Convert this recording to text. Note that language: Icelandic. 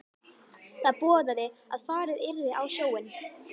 Það boðaði að farið yrði á sjóinn.